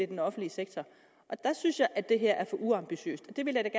den offentlige sektor der synes jeg at det her er for uambitiøst jeg vil da